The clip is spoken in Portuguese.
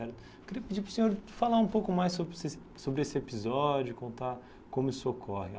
Eu queria pedir para o senhor falar um pouco mais sobre esses sobre esse episódio, contar como isso ocorre.